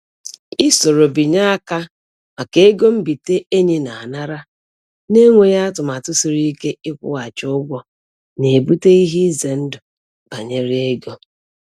I soro binye aka maka ego mbite enyi na-anara, na-enweghị atụmatụ siri ike ịkwụghachi ụgwọ na-ebute ihe ize ndụ banyere ego.